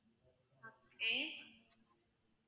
okay